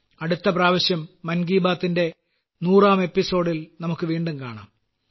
അടുത്ത പ്രാവശ്യം മൻ കീ ബാത്തിന്റെ 100ാം എപ്പിസോഡിൽ നമുക്ക് വീണ്ടും കാണാം